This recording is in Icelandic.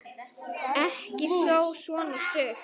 Ekki þó svona stutt.